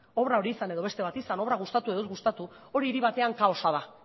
obra hori izan edo beste bat izan obra gustatu edo ez gustatu hori hiri batean kaosa da